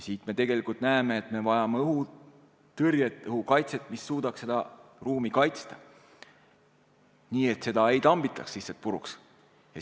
Siit me näeme, et me vajame õhutõrjet, õhukaitset, mis suudaks seda ruumi kaitsta, nii et seda ei tambitaks lihtsalt puruks.